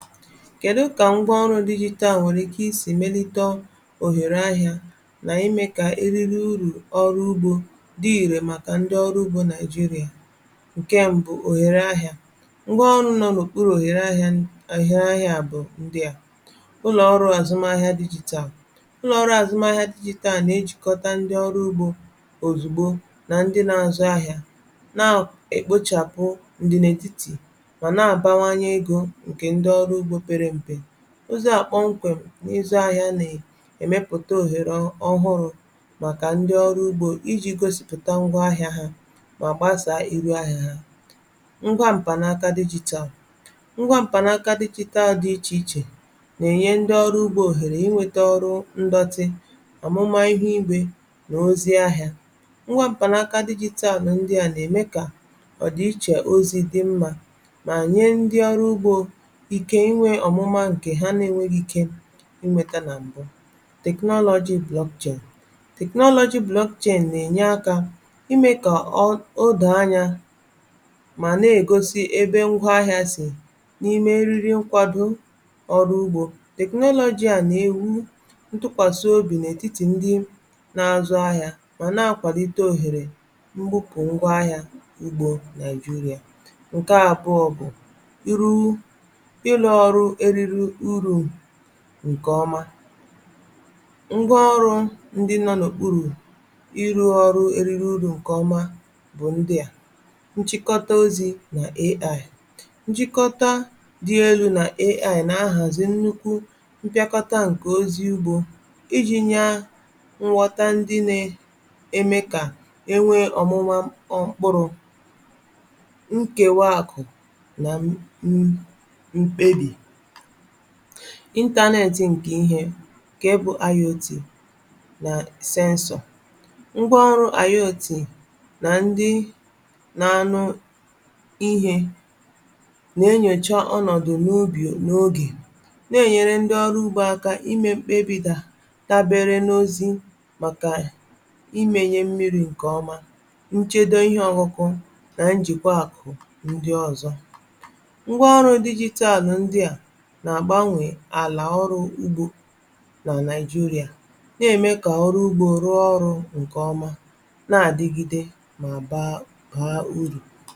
Kèdu kà ngwa ọrụ̄ digital nwèrè ike isī melite òhèrè ahịā na ime kà e riri urù ọrụ ugbō di irè màkà ndi ọrụ ugbō Nàijirà ǹkè mbụ̄ ohere ahịā ngwa ọrụ̄ nọ̀ n’òkpurū òhèrè ahịā ndia bụ̀ ndịa ụlọ̀ ọrụ àzụm ahịa digital ụlọ̀ ọrụ àzụm ahịa digital na-ejìkọta ndi ọrụ ugbō òzugbo na ndi na-azụ ahịā na-ekpòchàpụ̀ ǹdìnà ètitì mà nà-àbawanye egō ǹkè ndi ọrụ ugbō pere mpē ụzọ̀ a kpọnkwèm n’ịzọ̄ ahịa nà èmepùte òhère ọhụrụ̄ màkà ndi ọrụ̄ ugbō ijī gosipụ̀ta ngwa ahịa ha mà gbasàà iru ahịā ha ngwa m̀pànaka digital ngwa m̀pànaka digital di ichèichè na-ènye ndi ọrụ̄ ugbō òhèrè inwētā ọrụ ndọtị ọ̀mụma ihe igbē nà ozi ahịā nwa m̀panaka digital ndi a nà-ème kà ọ̀ dị ichè ozi dị̀ mmā mà nye ndi ọrụ ugbā ike inwē ọ̀mụma ǹkè ha na-enwēghī ike inwētā nà m̀bụ technology blockchain technology blockchain na-ènya akā imē kà odòò anyā mà na-ègosi ebe ngwa ahịā sì n’ime eriri nkwàdo ọrụ ugbō technology a nà-èwu ntukwàsị obì n’ètitì ndi na-azụ ahịā ọ nà-akwàlite òhere nbupù ngwa ahịā ugbo Nàịjịrà ǹkè àbụọ bụ̀ yeru ịrụ̄ ọrụ eriri urù ǹkè ọma ngwa ọrụ̄ ndi nọ̀ n’òkpurù ịrụ̄ ọrụ eriri urù ǹkèọma bụ̀ ndịa nchịkọta ozī nà AI nchịkọta di elū nà AI na-ahàzi nnukwu mpịakọta ǹkè ozi ugbō ijī nyaa nghọta ndi na-eme kà E nwee ọ̀mụma mkpụrụ̄ nkèwa akụ̀ nà mkpebì Internet ǹkè ihē ǹkè bụ̀ IoT nà censor ngwa ọrụ̄ IoT nà ndi na-anụ ihe na-eyòcha ọnọ̀dụ̀ n’ubì n’ogè nà-ènyere nde ọrụ ugbō aka na-eme mkpebì dà dabere n’ozi màkà imēnyē mmirī ǹkè ọma nchedo ihe ọkụ̄kụ̄ nà njị̀kwa akụ̀ ndi ọzọ ngwa ọrụ̄ digital ndia nà-àgbanwè àlà ọrụ ugbō nà Nàịjịrà na-ème kà ọrụ ugbō rụọ ọrụ̄ ǹkè ọma nà-àdigide mà baa urù